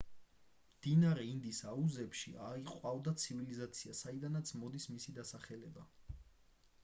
მდინარე ინდის აუზებში აყვავდა ცივილიზაცია საიდანაც მოდის მისი დასახელება